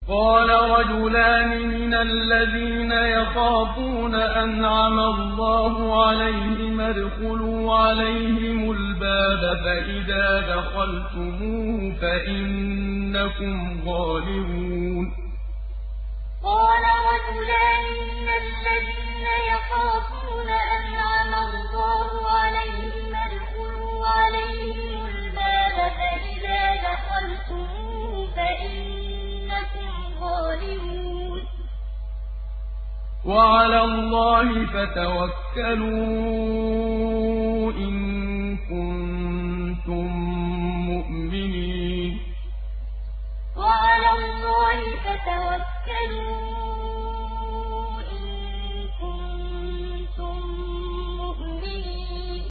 قَالَ رَجُلَانِ مِنَ الَّذِينَ يَخَافُونَ أَنْعَمَ اللَّهُ عَلَيْهِمَا ادْخُلُوا عَلَيْهِمُ الْبَابَ فَإِذَا دَخَلْتُمُوهُ فَإِنَّكُمْ غَالِبُونَ ۚ وَعَلَى اللَّهِ فَتَوَكَّلُوا إِن كُنتُم مُّؤْمِنِينَ قَالَ رَجُلَانِ مِنَ الَّذِينَ يَخَافُونَ أَنْعَمَ اللَّهُ عَلَيْهِمَا ادْخُلُوا عَلَيْهِمُ الْبَابَ فَإِذَا دَخَلْتُمُوهُ فَإِنَّكُمْ غَالِبُونَ ۚ وَعَلَى اللَّهِ فَتَوَكَّلُوا إِن كُنتُم مُّؤْمِنِينَ